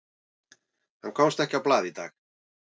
Hann komst ekki á blað í dag.